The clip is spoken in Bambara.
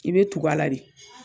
I be tug'a la de